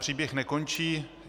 Příběh nekončí.